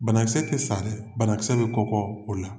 Banakisɛ te sa dɛ. Banakisɛ be kɔkɔɔ o la.